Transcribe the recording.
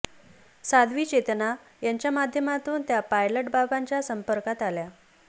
साध्वी चेतना यांच्या माध्यमांतून त्या पायलट बाबांच्या संपर्कात आल्या